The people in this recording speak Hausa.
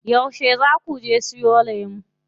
Yauce zaa kuje siyo lemu?